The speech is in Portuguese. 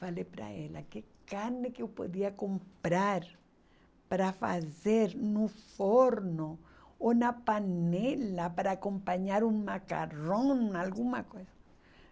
Falei para ela, que carne que eu podia comprar para fazer no forno ou na panela para acompanhar um macarrão, alguma coisa.